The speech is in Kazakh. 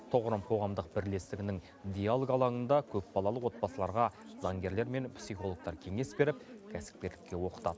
тұғырым қоғамдық бірлестігінің диалог алаңында көпбалалы отбасыларға заңгерлер мен психологтар кеңес беріп кәсіпкерлікке оқытад